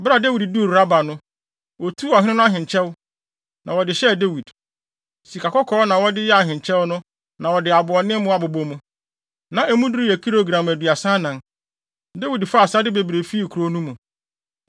Bere a Dawid duu Raba no, otuu ɔhene no ahenkyɛw, na wɔde hyɛɛ Dawid. Sikakɔkɔɔ na wɔde yɛɛ ahenkyɛw no na wɔde aboɔdemmo abobɔ mu. Na emu duru bɛyɛ kilogram aduasa anan. Dawid faa asade bebree fii kurow no mu.